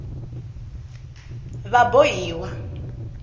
vabohiwa